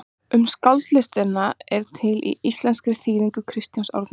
Um skáldskaparlistina er til í íslenskri þýðingu Kristjáns Árnasonar.